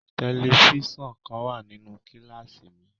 Tẹlifíṣọ̀n kan wà nínú kíláàsì mi.